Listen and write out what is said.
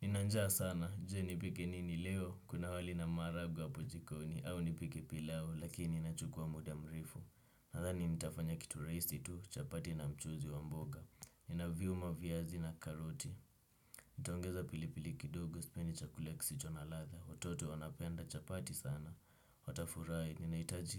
Ninanjaa sana, je nipike nini leo, kuna wali na maharagwe hapo jikoni, au nipike pilau, lakini inachukua muda mrefu. Nadhani nitafanya kitu rahisi tu, chapati na mchuzi wa mboga. Ninaviuma viazi na karoti. Nitaongeza pilipili kidogo, sipendi chakula kisicho na ladha, watoto wanapenda chapati sana. Watafurahi, ninahitaji